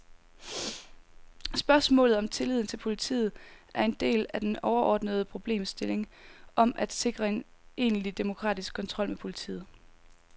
Spørgsmålet om tilliden til politiet er en del af den overordnede problemstilling om at sikre en egentlig demokratisk kontrol med politiet.